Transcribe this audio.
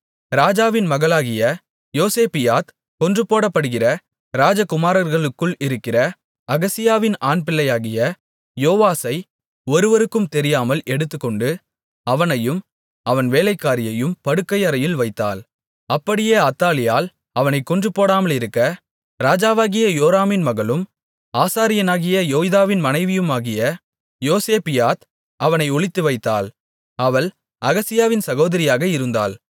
ராஜாவின் மகளாகிய யோசேபியாத் கொன்று போடப்படுகிற ராஜகுமாரர்களுக்குள் இருக்கிற அகசியாவின் ஆண்பிள்ளையாகிய யோவாசை ஒருவருக்கும் தெரியாமல் எடுத்துக்கொண்டு அவனையும் அவன் வேலைக்காரியையும் படுக்கையறையில் வைத்தாள் அப்படியே அத்தாலியாள் அவனைக் கொன்றுபோடாமலிருக்க ராஜாவாகிய யோராமின் மகளும் ஆசாரியனாகிய யோய்தாவின் மனைவியுமாகிய யோசேபியாத் அவனை ஒளித்துவைத்தாள் அவள் அகசியாவின் சகோதரியாக இருந்தாள்